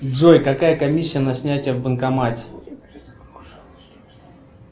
джой какая комиссия на снятие в банкомате